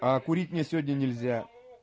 курить мне сегодня нельзя